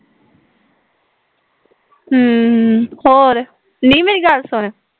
ਹਮ ਹੋਰ, ਨੀ ਮੇਰੀ ਗੱਲ ਸੁਣਨ